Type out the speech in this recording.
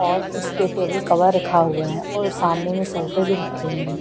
और उसपे table cover रखा हुआ है और सामने में सोफे भी रखे हुए--